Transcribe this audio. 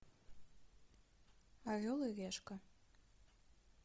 орел и решка